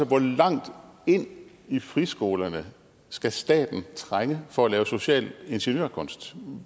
hvor langt ind i friskolerne skal staten trænge for at lave social ingeniørkunst